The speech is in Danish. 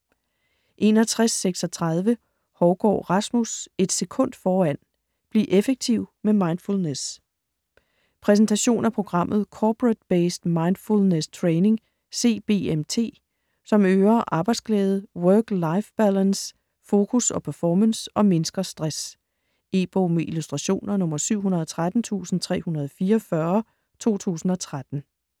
61.36 Hougaard, Rasmus: Et sekund foran: bliv effektiv med mindfulness Præsentation af programmet Corporate-Based Mindfulness Training (CBMT), som øger arbejdsglæde, work-life balance, fokus og performance og mindsker stress. E-bog med illustrationer 713344 2013.